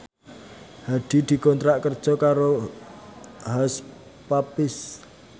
Hadi dikontrak kerja karo Hush Puppies